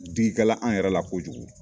Diki kɛla an yɛrɛ la kojugu.